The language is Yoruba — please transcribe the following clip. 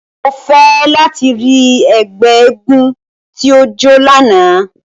Mo fẹ lati ri ẹgbẹ éégún ti o jo làná!